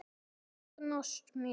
Þóknast mér?